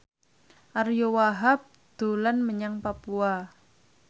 Ariyo Wahab dolan menyang Papua